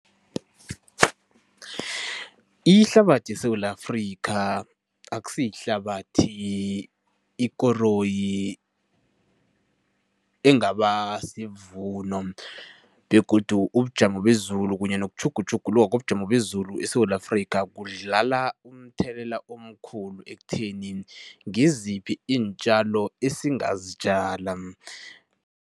Ihlabathi yeSewula Afrika akusiyihlabathi ikoroyi engaba sivuno begodu ubujamo bezulu kunye nokutjhugutjhuluka kobujamo bezulu eSewula Afrika kudlala umthelela omkhulu ekutheni ngiziphi iintjalo esingazitjala.